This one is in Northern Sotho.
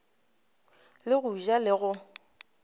le go ja le go